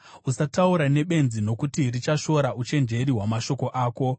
Usataura nebenzi, nokuti richashora uchenjeri hwamashoko ako.